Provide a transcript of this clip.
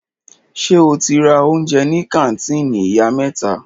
Ṣe o ti ra oúnjẹ ní kàńtìnì Ìyá mẹ́ta?